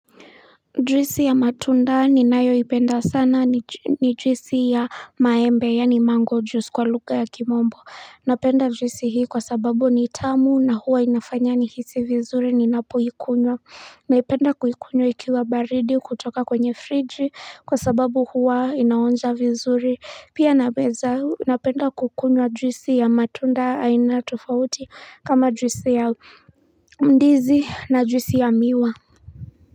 Jwisi ya matunda ni nayo ipenda sana ni jwisi ya maembe yani mango juice kwa lugha ya kimombo Napenda jwisi hii kwa sababu ni tamu na huwa inafanya ni hisi vizuri ninapoikunywa Naipenda kuikunywa ikiwa baridi kutoka kwenye fridgi kwa sababu huwa inaonja vizuri Pia napeza napenda kukunywa jwisi ya matunda aina tofauti kama jwisi ya mdizi na jwisi ya miwa.